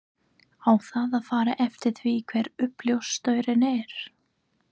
Á það að fara eftir því hver uppljóstrarinn er?